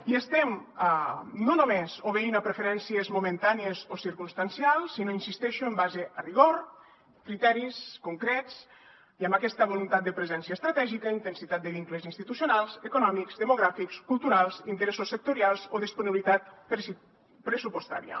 i estem no només obeint a preferències momentànies o circumstancials sinó hi insisteixo en base a rigor criteris concrets i amb aquesta voluntat de presència estratègica intensitat de vincles institucionals econòmics demogràfics culturals interessos sectorials o disponibilitat pressupostària